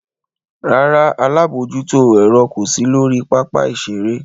Rárá, alabojuto ere ko si lori papa-iṣere.